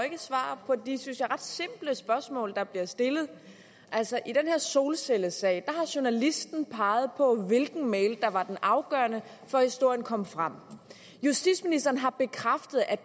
ikke svar på de synes jeg ret simple spørgsmål der bliver stillet altså i den her solcellesag har journalisten peget på hvilken mail der var den afgørende for at historien kom frem justitsministeren har bekræftet at